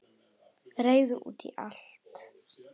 Reiður út í allt.